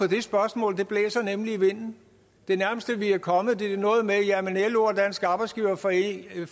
det spørgsmål blæser nemlig i vinden det nærmeste vi er kommet er noget med at lo og dansk arbejdsgiverforening